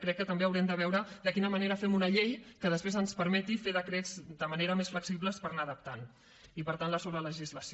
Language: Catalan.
crec que també haurem de veure de quina manera fem una llei que després ens permeti fer decrets de manera més flexible per anarla adaptant i per tant la sobrelegislació